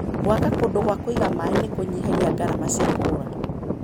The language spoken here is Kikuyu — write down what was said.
gwaka kundũ gwa kũiga maĩ nĩkũnyihagia ngarama cia kũgũra.